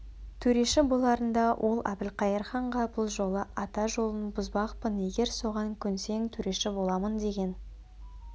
төреші боларында ол әбілқайыр ханға бұл жолы ата жолын бұзбақпын егер соған көнсең төреші боламын деген